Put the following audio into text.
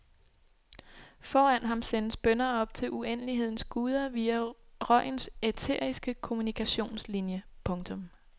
Foran ham sendes bønner op til uendelighedens guder via røgens æteriske kommunikationslinie. punktum